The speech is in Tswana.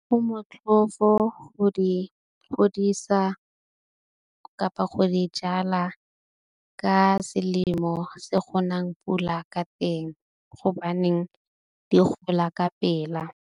Mo motlhofo go di godisa kapa go di jala ka selemo se go nang pula ka teng. Gobaneng di gola ka pela.